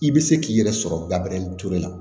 I bɛ se k'i yɛrɛ sɔrɔ gabure turu la